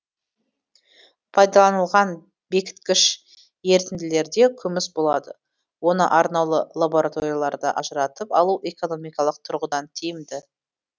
пайдаланылған бекіткіш ерітінділерде күміс болады оны арнаулы лабораторияларда ажыратып алу экономикалық тұрғыдан тиімді